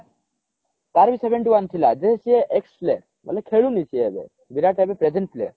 ତାର ବି seventy one ଥିଲା ଯେ ସିଏ ex ଥିଲେ ମାନେ ଖେଳୁନି ସିଏ ଏବେ ବିରାଟ ଏବେ present ଥିଲେ